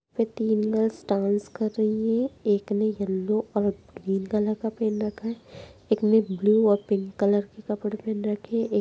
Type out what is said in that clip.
पे तीन girls dance कर रही है एक ने येलो और ग्रीन कलर का पहन रखा है एक ने ब्लू और पिंक कलर का कपड़े पहन रखे है एक --